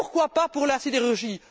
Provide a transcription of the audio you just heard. Pourquoi pas pour la sidérurgie?